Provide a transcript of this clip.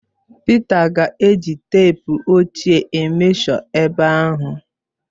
Pịta ga-eji teepu ochie emeshọ ebe ahụ.